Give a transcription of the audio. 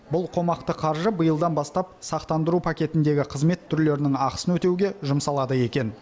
бұл қомақты қаржы биылдан бастап сақтандыру пакетіндегі қызмет түрлерінің ақысын өтеуге жұмсалады екен